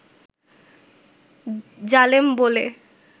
জালেম বলে